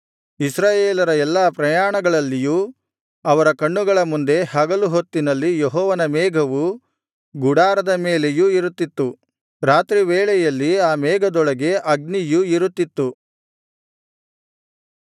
ಇಸ್ರಾಯೇಲರ ಎಲ್ಲಾ ಪ್ರಯಾಣಗಳಲ್ಲಿಯೂ ಅವರ ಕಣ್ಣುಗಳ ಮುಂದೆ ಹಗಲು ಹೊತ್ತಿನಲ್ಲಿ ಯೆಹೋವನ ಮೇಘವು ಗುಡಾರದ ಮೇಲೆಯೂ ಇರುತ್ತಿತ್ತು ರಾತ್ರಿ ವೇಳೆಯಲ್ಲಿ ಆ ಮೇಘದೊಳಗೆ ಅಗ್ನಿಯು ಇರುತ್ತಿತ್ತು